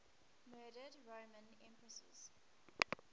murdered roman empresses